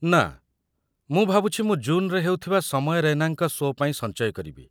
ନା, ମୁଁ ଭାବୁଛି ମୁଁ ଜୁନ୍‌ରେ ହେଉଥିବା ସମୟ ରୈନାଙ୍କ ସୋ' ପାଇଁ ସଞ୍ଚୟ କରିବି।